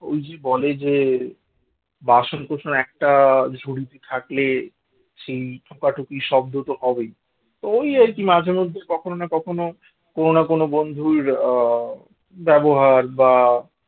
ওই যে বলে যে বাসন-কোসন একটা ঝুড়িতে থাকলে সেই ঠোকাঠুকি শব্দ তো হবেই তো ওই আর কি মাঝে মধ্যে কখনো কোনো না কোনো বন্ধুর ব্যবহার বা